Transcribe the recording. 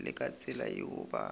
le ka tsela yeo ba